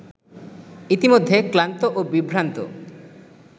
ইতিমধ্যে ক্লান্ত ও বিভ্রান্ত